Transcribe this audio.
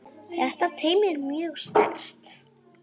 Þetta teymi er mjög sterkt.